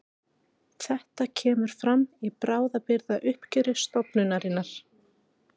Þetta kemur fram í bráðabirgðauppgjöri stofnunarinnar